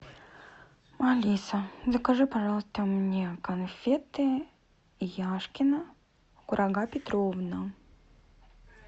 алиса закажи пожалуйста мне конфеты яшкино курага петровна